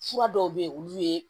Fura dɔw bɛ yen olu ye